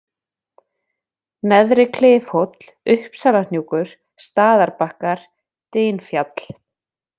Neðri-Klifhóll, Uppsalahnjúkur, Staðarbakkar, Dynfjall